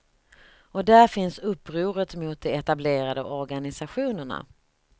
Och där finns upproret mot de etablerade organisationerna.